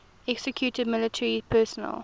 executed military personnel